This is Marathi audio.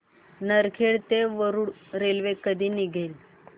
नरखेड ते वरुड रेल्वे कधी निघेल